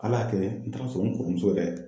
Ala y'a kɛlɛ n taara sɔrɔ n kɔrɔmuso yɛrɛ